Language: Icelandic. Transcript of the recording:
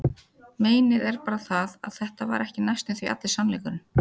Meinið er bara það, að þetta var ekki næstum því allur sannleikurinn.